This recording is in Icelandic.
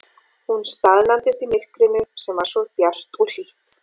Hún staðnæmdist í myrkrinu sem var samt svo bjart og hlýtt.